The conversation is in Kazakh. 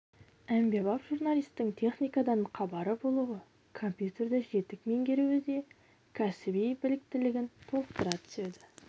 әмбебап журналистің техникадан хабары болуы компьютерді жетік меңгеруі де кәсіби біліктілігін толықтыра түседі